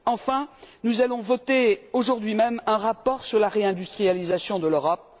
Enfin, nous allons voter aujourd'hui même un rapport sur la réindustrialisation de l'Europe.